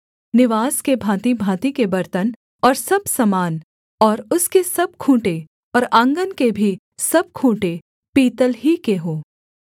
निवास के भाँतिभाँति के बर्तन और सब सामान और उसके सब खूँटे और आँगन के भी सब खूँटे पीतल ही के हों